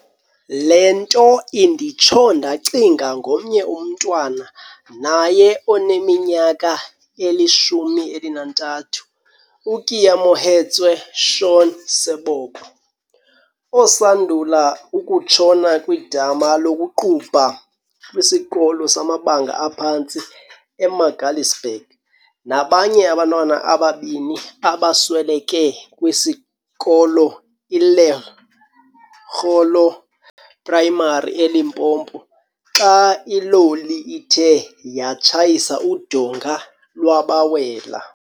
Le nto inditsho ndacinga ngomnye umntwana naye oneminyaka eli-13, uKeamohetswe Shaun Seboko, osandula ukutshona kwidama lokuqubha kwisikolo samabanga aphantsi eMagaliesburg, nabanye abantwana ababini abasweleke kwisikolo iLekgolo Primary eLimpopo xa iloli ithe yatshayisa udonga lwabawela.